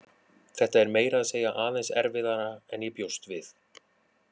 Þetta er meira segja aðeins erfiðara en ég bjóst við.